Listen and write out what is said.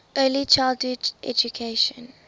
early childhood education